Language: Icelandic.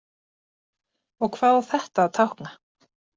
Og hvað á þetta að tákna?